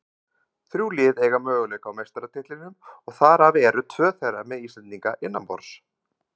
Þrjú lið eiga möguleika á meistaratitlinum og þar af eru tvö þeirra með Íslendinga innanborðs.